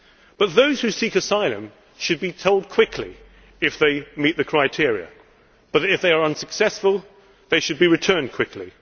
But those who seek asylum should be told quickly if they meet the criteria and if they are unsuccessful they should be returned quickly.